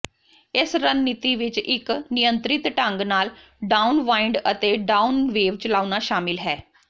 ਇਸ ਰਣਨੀਤੀ ਵਿਚ ਇਕ ਨਿਯੰਤਰਿਤ ਢੰਗ ਨਾਲ ਡਾਊਨਵਾਇੰਡ ਅਤੇ ਡਾਊਨ ਵੇਵ ਚਲਾਉਣਾ ਸ਼ਾਮਲ ਹੈ